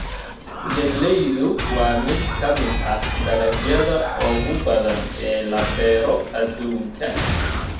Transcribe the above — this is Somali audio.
Galleydu waa mid ka mid ah dalagyada ugu badan ee la beero adduunka.